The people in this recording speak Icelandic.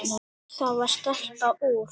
Það var stelpa úr